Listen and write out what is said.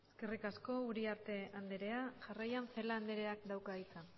eskerrik asko uriarte andrea jarraian celaá andrea dauka hitza